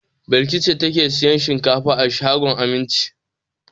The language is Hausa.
Balki ce take sayan shinkafa a shagon Aminci.